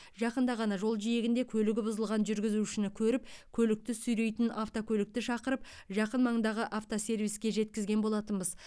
жақында ғана жол жиегінде көлігі бұзылған жүргізушіні көріп көлікті сүйрейтін автокөлікті шақырып жақын маңдағы автосервиске жеткізген болатынбыз